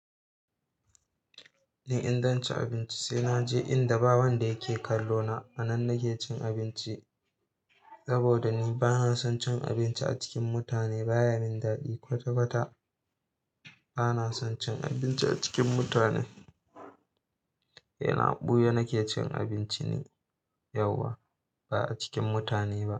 Ni in zan ci abinci, sai naje inda ba wanda yake kallo na. A nan nake cin abinci saboda ni bana son cin abinci a cikin mutane. Ba ya min daɗi kwata-kwata. Bana son cin abinci a cikin mutane. Ina ɓuya nake cin abinci ne yauwa, ba a cikin mutane ba.